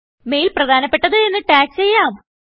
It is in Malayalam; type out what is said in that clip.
മെയിൽ പ്രധാനപ്പെട്ടത് എന്ന് ടാഗ് ചെയ്യാം